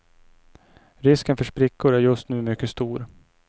Risken för sprickor är just nu mycket stor.